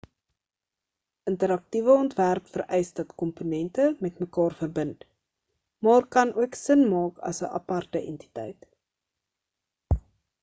interaktiewe ontwerp vereis dat komponente met mekaar verbind maar kan ook sin maak as 'n aparte entiteit